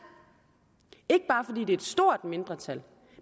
ikke bare fordi det er et stort mindretal